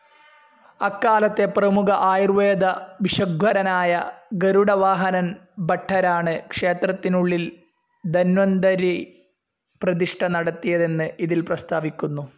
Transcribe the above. അക്കാലത്തെ പ്രമുഖ ആയൂർവേദ ഭിഷഗ്വരനായ ഗരുഡവാഹനൻ ഭട്ടരാണ് ക്ഷേത്രത്തിനുള്ളിൽ ധന്വന്തരീ പ്രതിഷ്ഠ നടത്തിയതെന്ന് ഇതിൽ പ്രസ്താവിക്കുന്നു.